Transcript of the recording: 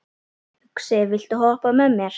Uxi, viltu hoppa með mér?